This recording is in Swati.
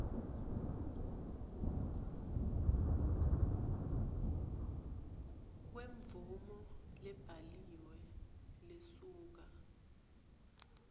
kwemvumo lebhaliwe lesuka